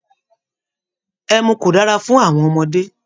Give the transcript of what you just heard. Ẹmu kò dára fun àwọn ọmọdé